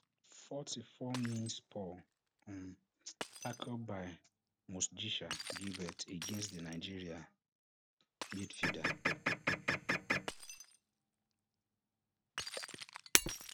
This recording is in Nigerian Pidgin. forty-four mins poor um tackle by mostgisha gilbert against di nigeria midfielder